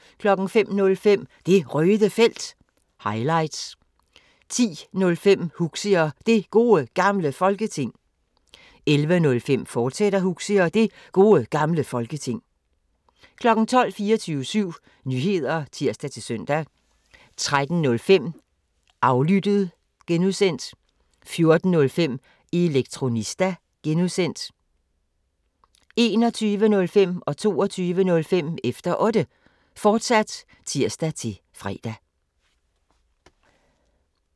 05:05: Det Røde Felt – highlights 10:05: Huxi og Det Gode Gamle Folketing 11:05: Huxi og Det Gode Gamle Folketing, fortsat 12:00: 24syv Nyheder (tir-søn) 13:05: Aflyttet (G) 14:05: Elektronista (G) 21:05: Efter Otte, fortsat (tir-fre) 22:05: Efter Otte, fortsat (tir-fre)